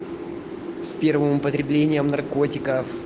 с первым употреблением наркотиков